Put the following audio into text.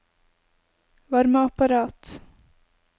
varmeapparat